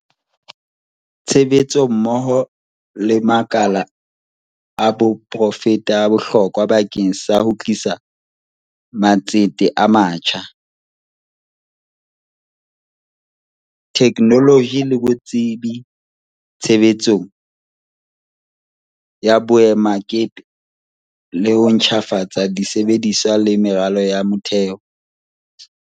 Tshebetso mmoho le makala a poraefete e bohlokwa bakeng sa ho tlisa matsete a matjha, the knoloji le botsebi tshebetsong ya boemakepe le ho ntjhafatsa di sebediswa le meralo ya motheo.